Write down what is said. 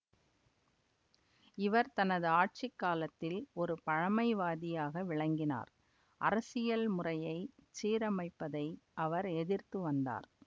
இவர் தனது ஆட்சி காலத்தில் ஒரு பழைமைவாதியாக விளங்கினார் அரசியல் முறையைச் சீரமைப்பதை அவர் எதிர்த்துவந்தார்